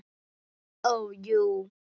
Ó, jú.